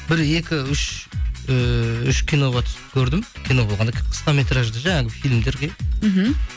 бір екі үш ііі үш киноға түсіп көрдім кино болғанда қысқа метражды фильмдерге мхм